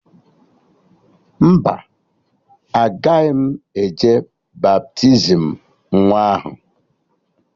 Mba, agaghị m eje baptizim nwa ahụ